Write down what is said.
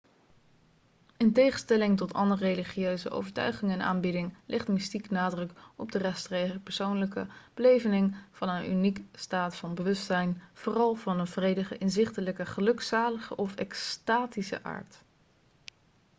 in tegenstelling tot andere religieuze overtuigingen en aanbidding legt mystiek nadruk op de rechtstreekse persoonlijke beleving van een unieke staat van bewustzijn vooral van een vredige inzichtelijke gelukzalige of extatische aard